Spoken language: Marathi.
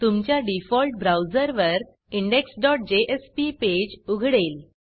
तुमच्या डिफॉल्ट ब्राऊजरवर indexजेएसपी पेज उघडेल